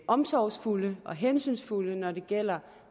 omsorgsfulde og hensynsfulde når det gælder